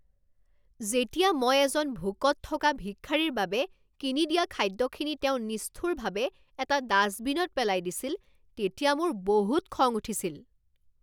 যেতিয়া মই এজন ভোকত থকা ভিক্ষাৰীৰ বাবে কিনি দিয়া খাদ্যখিনি তেওঁ নিষ্ঠুৰভাৱে এটা ডাষ্টবিনত পেলাই দিছিল তেতিয়া মোৰ বহুত খং উঠিছিল।